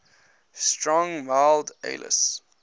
strong mild ales